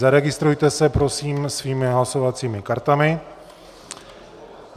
Zaregistrujte se prosím svými hlasovacími kartami.